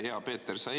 Hea Peeter!